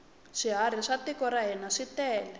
swiharhi swa tiko ra hina switele